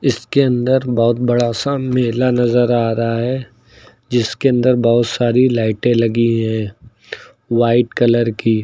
इसके अंदर बहुत बड़ा सा मेला नजर आ रहा है जिसके अंदर बहुत सारी लाइटें लगी है वाइट कलर की।